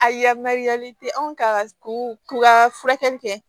A yamaruyalen te anw ka to ka furakɛli kɛ